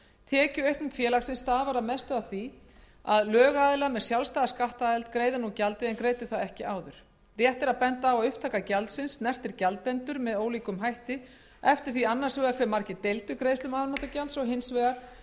tekjuaukning félagsins stafar að mestu af því að lögaðilar með sjálfstæða skattaðild greiða nú gjaldið en greiddu það ekki áður rétt er að benda á að upptaka gjaldsins snertir gjaldendur með ólíkum hætti eftir því annars vegar hve margir deildu greiðslum afnotagjalds og hins vegar